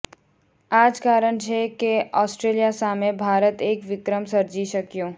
આ જ કારણ છે કે ઑસ્ટ્રેલિયા સામે ભારત એક વિક્રમ સર્જી શક્યું